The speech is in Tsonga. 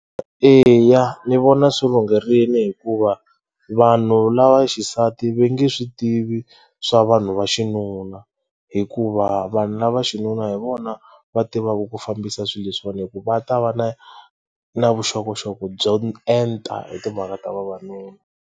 Eya, ni vona swi lungherile hikuva vanhu lava xisati va nge swi tivi swa vanhu va xinuna hikuva vanhu na xinuna hi vona va tivaka ku fambisa swilo leswi hikuva ta va na na vuxokoxoko byo enta hi timhaka ta vavanuna.